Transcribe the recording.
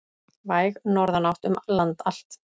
Væg norðanátt um land allt